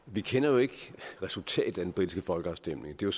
vi kender jo ikke resultatet af den britiske folkeafstemning det er